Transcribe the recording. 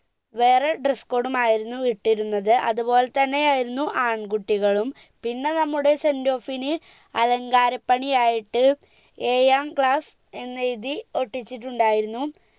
വേറെ dress code ഉം ആയിരുന്നു ഇട്ടിരുന്നത് അതുപോലെ തന്നെ ആയിരുന്നു ആൺ കുട്ടികളും പിന്നെ നമ്മുടെ sendoff ന് അലങ്കാര പണി ആയിട്ട് ഏഴാം class എന്നെഴുതി ഒട്ടിച്ചിട്ടുണ്ടായിരുന്നു